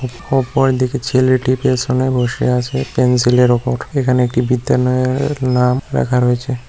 অপরদিকে ছেলেটি পেছনে বসে আছে পেন্সিলের ওপর এখানে একটি বিদ্যালয়ের নাম লেখা রয়েছে।